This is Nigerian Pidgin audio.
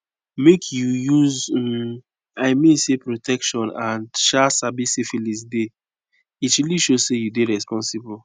make you use um i mean say protection and um sabi syphilis deyit really show say you dey responsible